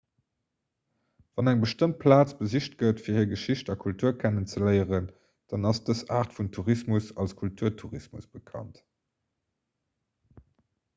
wann eng bestëmmt plaz besicht gëtt fir hir geschicht a kultur kennenzeléieren dann ass dës aart vun tourismus als kulturtourismus bekannt